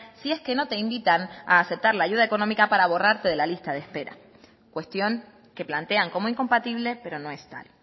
si es que no te invitan a aceptar la ayuda económica para borrarte de la lista de espera cuestión que plantean como incompatible pero no es tal